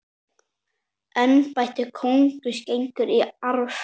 Embætti konungs gengur í arf.